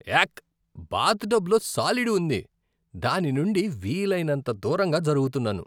యాక్, bath టబ్లో సాలీడు ఉంది, దాని నుండి వీలైనంత దూరంగా జరుగుతున్నాను.